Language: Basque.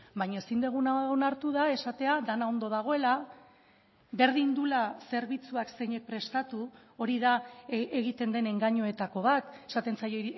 baina ezin duguna onartu da esatea dena ondo dagoela berdin duela zerbitzuak zeinek prestatu hori da egiten den engainuetako bat esaten zaio